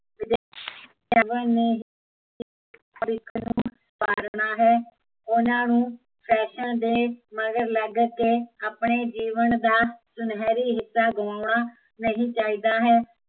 ਵਾਰਨਾ ਹੈ, ਉਹਨਾਂ ਨੂੰ ਫੈਸ਼ਨ ਦੇ ਮਗਰ ਲੱਗ ਕੇ ਆਪਣੇ ਜੀਵਨ ਦਾ, ਸੁਨਹਿਰੀ ਹਿੱਸਾ ਗਵਾਉਨਾ ਨਹੀਂ ਚਾਹੀਦਾ ਹੈ